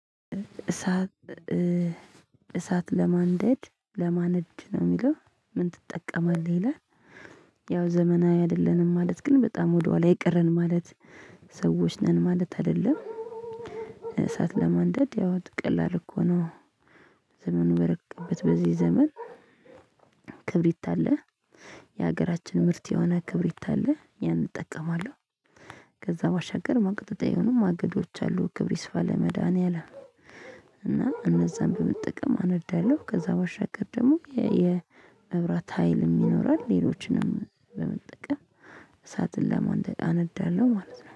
እሳት እሳት ለማንደድ ለማንድ ነው የሚለው ምን ትጠቀማለህ ይላል? ያው ዘመናዊ አይደለንም ማለት ግን በጣም ወደኋላ የቀረን ማለት ሰዎች ነን ማለት አይደለም። እሳት ለማንደድ ያው ቀላል እኮ ነው። ዘመኑን በረቀቀበት በዚህ ዘመን። ክብሪት አለ የሀገራችን ምርት የሆነ ክብሪት አለ ያን እጠቀማለሁ። ከዛ ባሻገር ማቀጣጠል የሆኑ ማገዶች አሉ ክብር ይስፋ ለመድሃኒያም። እና እነዛን በምትጠቀም አነዳለሁ ከዛ በሻገር ደግሞ የመብራት ሀይል ይኖራል። ሌሎችንም በመጠቀም እሳትን ለማንደደ አነዳለሁ ማለት ነው